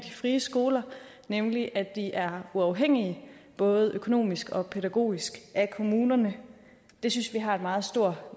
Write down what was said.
de frie skoler nemlig at de er uafhængige både økonomisk og pædagogisk af kommunerne det synes vi har en meget stor